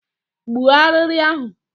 Gbuo arịrị ahụ!